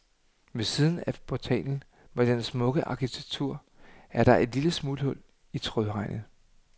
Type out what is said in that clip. Ved siden af portalen med dens smukke arkitektur er der et lille smuthul i trådhegnet.